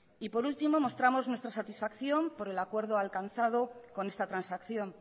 y por último mostramos nuestra satisfacción por el acuerdo alcanzado con esta transacción